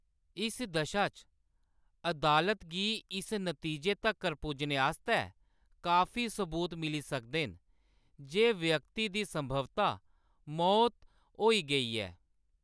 इस दशा च, अदालत गी इस नतीजे तक्कर पुज्जने आस्तै काफी सबूत मिली सकदे न जे व्यक्ति दी संभवतः मौत होई गेई ऐ।